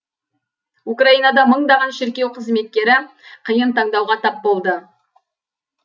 украинада мыңдаған шіркеу қызметкері қиын таңдауға тап болды